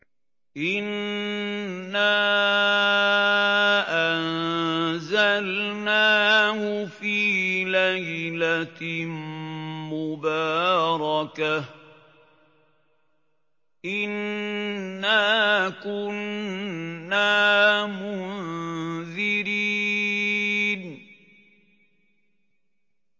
إِنَّا أَنزَلْنَاهُ فِي لَيْلَةٍ مُّبَارَكَةٍ ۚ إِنَّا كُنَّا مُنذِرِينَ